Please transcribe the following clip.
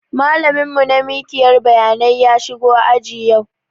Malamin mu na mikiyar bayanai ya shigo aji yau